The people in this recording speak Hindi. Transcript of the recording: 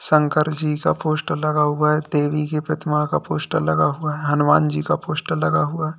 शंकर जी का पोस्टर लगा हुआ है देवी के प्रतिमा का पोस्टर लगा हुआ है हनुमान जी का पोस्टर लगा हुआ है।